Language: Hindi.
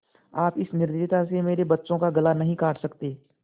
आप इस निर्दयता से मेरे बच्चों का गला नहीं काट सकते